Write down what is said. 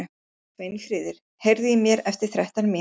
Sveinfríður, heyrðu í mér eftir þrettán mínútur.